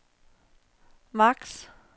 maks